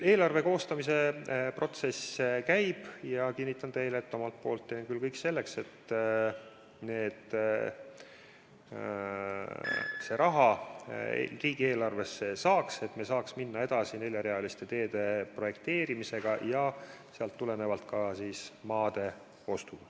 Eelarve koostamise protsess käib ja ma kinnitan teile, et omalt poolt teen ma küll kõik selleks, et see raha riigieelarvesse saaks, et me saaks minna edasi neljarealiste teede projekteerimisega ja sellest tulenevalt ka maade ostuga.